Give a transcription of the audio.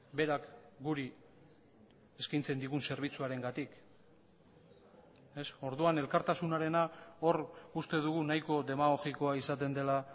berak guri eskaintzen digun zerbitzuarengatik orduan elkartasunarena hor uste dugu nahiko demagogikoa izaten dela